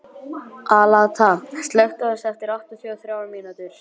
Alanta, slökktu á þessu eftir áttatíu og þrjár mínútur.